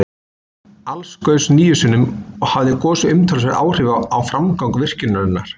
Alls gaus níu sinnum, og hafði gosið umtalsverð áhrif á framgang virkjunarinnar.